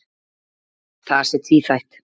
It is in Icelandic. Það sé tvíþætt.